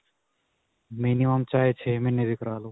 minimum ਚਾਹੇ ਛੇ ਮਹੀਨੇ ਵੀ ਕਰਵਾ ਲੋ